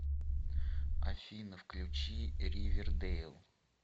афина включи ривердейл